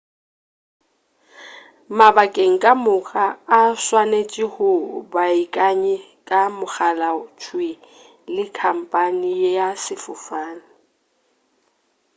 mabakeng ka moka o swanetše o beakanye ka mogala thwii le khamphane ya sefofane